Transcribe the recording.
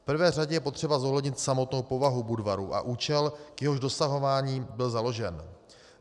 V prvé řadě je potřeba zohlednit samotnou povahu Budvaru a účel, k jehož dosahování byl založen.